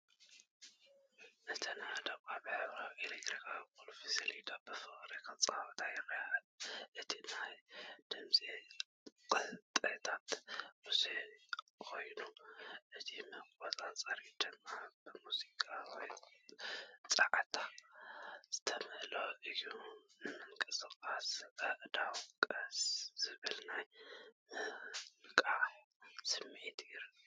እተን ኣእዳው ኣብ ሕብራዊ ኤሌክትሮኒካዊ ቁልፊ ሰሌዳ ብፍቕሪ ክጻወታ ይረኣያ። እቲ ናይ ድምጺ ቅጥዕታት ብዙሕ ኮይኑ፡ እቲ መቆጻጸሪታት ድማ ብሙዚቃዊ ጸዓት ዝተመልአ እዩ። ምንቅስቓስ ኣእዳው ስቕ ዝበለ ናይ ምንቃሕ ስምዒት ይህብ።